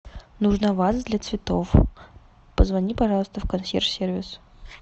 нужна ваза для цветов позвони пожалуйста в консьерж сервис